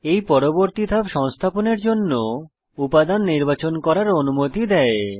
এই পরবর্তী ধাপ সংস্থাপনের জন্য উপাদান নির্বাচন করার অনুমতি দেয়